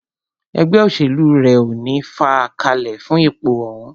Ẹgbẹ́ òṣèlú rẹ̀ ní o fàá kalẹ̀ fún ipò òhún.